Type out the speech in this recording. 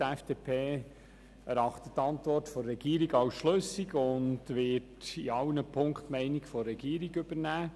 Die FDP erachtet die Antwort der Regierung als schlüssig und wird in allen Ziffern die Meinung der Regierung übernehmen.